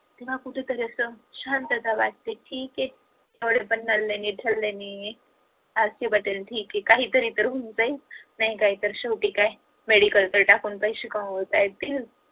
तेव्हा कुठेतरी आस शांतता वाटतंय ठीक आहे rk patil ठीक आहे काहीतरी तर होऊन जाईल नाही काय तर शेवटी काय medical टाकून तर पैशे कमावता येतील